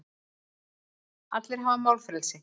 Allir hafa málfrelsi.